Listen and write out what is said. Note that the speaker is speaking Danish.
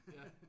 Ja